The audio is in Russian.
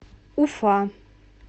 уфа